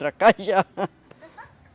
Tracajá.